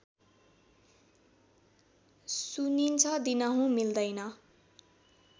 सुनिन्छ दिनहूँ मिल्दैन